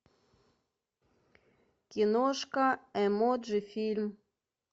киношка эмоджи фильм